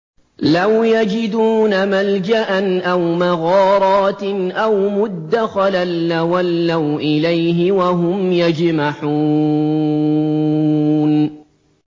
لَوْ يَجِدُونَ مَلْجَأً أَوْ مَغَارَاتٍ أَوْ مُدَّخَلًا لَّوَلَّوْا إِلَيْهِ وَهُمْ يَجْمَحُونَ